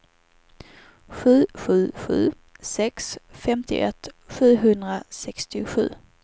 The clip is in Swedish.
sju sju sju sex femtioett sjuhundrasextiosju